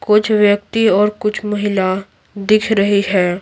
कुछ व्यक्ति और कुछ महिला दिख रही है।